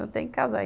Eu tenho que casar.